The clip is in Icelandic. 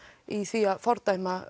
í því að fordæma